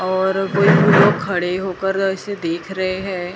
और कोई कोई लोग खड़े होकर ऐसे देख रहे हैं।